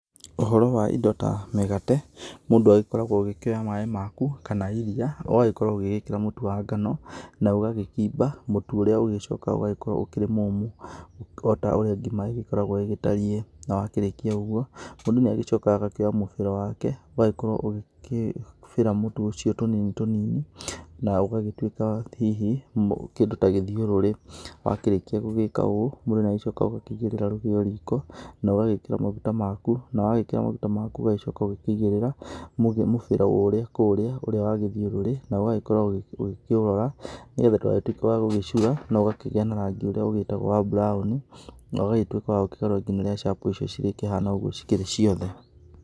Ũhoro wa indo ta mĩgate ,mũndũ agĩkoragwo ũgĩkĩoya maĩ kana iria, ũgagĩkorwo ũgĩkĩra mũtu wa ngano, na ũgagĩkĩimba mũtu ũrĩa ũgĩcokaga ũgagĩkorwo ũkĩrĩ mũmũ,o ta ũrĩa ngima ĩgĩkoragwo ĩgĩtariĩ na wakĩrĩkia ũguo, mũndũ nĩagĩcokaga agakĩoya mũbĩro wake, ũgakorwo ũkĩbĩra mũtu ũcio tũnini tũnini, na ũgagĩtuĩka hihi kĩndũ ta gĩthiũrũrĩ, wakĩrĩkia gũgĩka ũũ. Mũndũ nĩagĩcokaga akaĩgĩrĩra rũgĩo riko, na ũgagĩkĩra maguta maku, na wagĩkĩra maguta maku ũgagĩcoka ũgakĩigĩrĩra mũbĩro ũrĩa, ũrĩa wa gĩthiũrũrĩ na ũgagĩkorwo ũgĩkĩrora nĩgetha ndũgagĩtuĩke wa gũgĩcura na ũgakĩgĩa na rangi ũrĩa wĩtagwo wa brown na ũgatuĩka wa gũkĩgarũra nginya rĩrĩa chapo icio cirĩkĩhana ũguo cikĩrĩ ciothe.